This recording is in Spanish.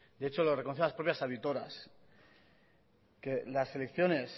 de hecho lo reconocen las propias auditoras que las elecciones